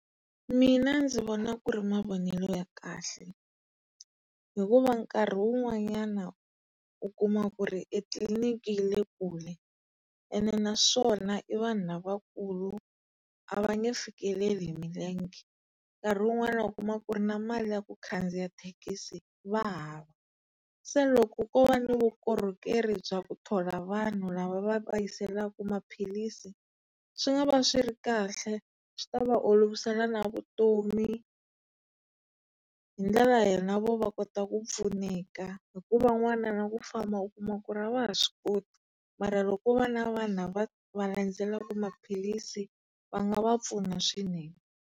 Mina ndzi vona ku ri mavonelo ya kahle hikuva nkarhi wun'wanyana u kuma ku ri e tliliniki yi le kule ene naswona i vanhu lavakulu, ava nge fikeleli hi milenge. Nkarhi wun'wana u kuma ku ri na mali ya ku khandziya mathekisi va hava. Se loko ko va ni vukorhokeri bya ku thola vanhu lava va va yiselaku maphilisi, swi nga va swi ri kahle. Swi ta va olovisela na vutomi. Hi ndlela na vo va kota ku pfuneka hi ku van'wana ni ku famba u kuma ku ri a va ha swi koti. Mara loko ko va na vanhu lava va landzelaka maphilisi va nga va pfuna swinene.